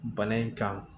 Bana in kan